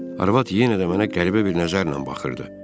Arvad yenə də mənə qəribə bir nəzərlə baxırdı.